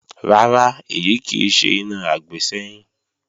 Rárá, èyí kì í ṣe iná àgbésẹ́yìn